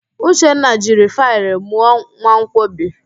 Uchenna jiri faịlụ mụọ mmanwkọbi